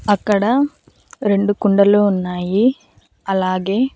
అక్కడ రెండు కుండలు ఉన్నాయి అలాగే